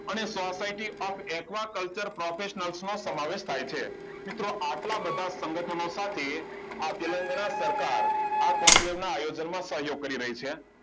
અને socirty of aquaculture professional માં સમાવેશ થાય છે મિત્રો આટલા બધા સંગઠનો સાથે આ તેલંગાના સરકાર આ conclave ને આયોજનનો સહયોગ કરી રહી છે